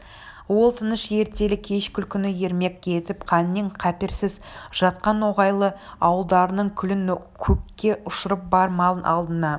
ол тыныш ертелі-кеш күлкіні ермек етіп қаннен-қаперсіз жатқан ноғайлы ауылдарының күлін көкке ұшырып бар малын алдына